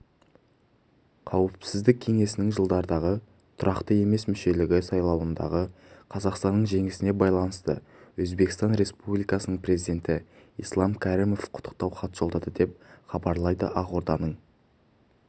қауіпсіздік кеңесінің жылдардағы тұрақты емес мүшелігі сайлауындағы қазақстанның жеңісіне байланысты өзбекстан республикасының президенті ислам кәрімовқұттықтау хат жолдады деп хабарлайды ақорданың